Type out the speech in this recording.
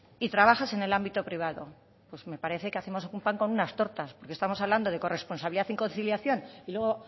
y trabajas en el ámbito privado pues me parece que hacemos un pan con unas tortas porque estamos hablando de corresponsabilidad y conciliación y luego